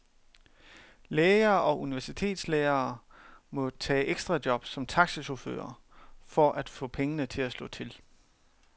Læger og universitetslærere må tage ekstrajob som taxachauffører for at få pengene til at slå til.